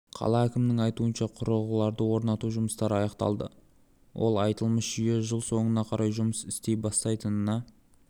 қала әкімінің айтуынша құрылғыларды орнату жұмыстары аяқталды ол аталмыш жүйе жыл соңына қарай жұмыс істей бастайтынына